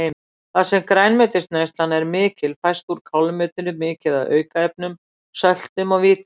Þar sem grænmetisneyslan er mikil fæst úr kálmeti mikið af aukaefnum, söltum og vítamínum.